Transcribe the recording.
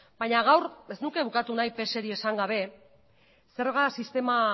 baina gaur ez nuke bukatu nahi pseri esan gabe zerga sistema